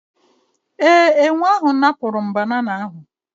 Ee, enwe ahụ napụrụ banana ahụ